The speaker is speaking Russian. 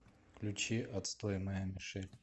включи отстой моя мишель